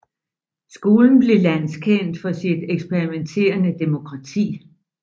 Skolen blev landskendt for sit eksperimenterende demokrati